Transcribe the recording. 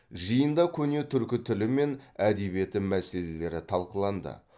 жиында көне түркі тілі мен әдебиеті мәселелері талқыланды